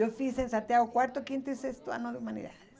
Eu fiz em Santiago o quarto, quinto e sexto ano de humanidades.